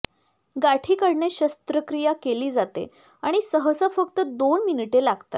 गाठी काढणे शस्त्रक्रिया केली जाते आणि सहसा फक्त दोन मिनिटे लागतात